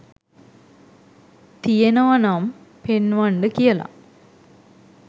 තියෙනව නම් පෙන්වන්ඩ කියල